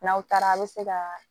N'aw taara a bi se ka